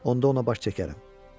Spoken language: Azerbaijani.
Onda ona baş çəkərəm.